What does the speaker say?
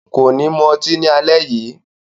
Ko ni mu ọtí ni alẹ́ yii.